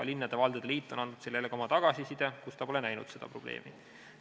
Linnade ja valdade liit on andnud selle kohta ka oma tagasiside, kus ta pole näinud seda probleemina.